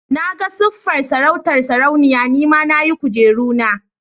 Na ga siffar sarautar sarauniya, ni ma na yi kujeru na.